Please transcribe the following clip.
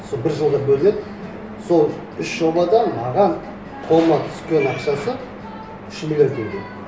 сол бір жылға бөлінеді сол үш жобадан маған қолыма түскен ақшасы үш миллион теңге